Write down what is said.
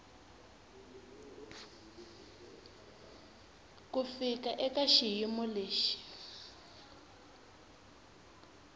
ku fika eka xiyimo lexi